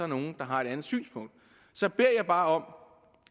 nogen der har et andet synspunkt så beder jeg bare om